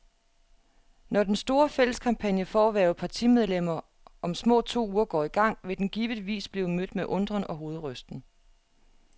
Når den store, fælles kampagne for at hverve partimedlemmer om små to uger går i gang, vil den givetvis blive mødt med undren og hovedrysten.